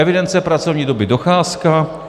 Evidence pracovní doby, docházka.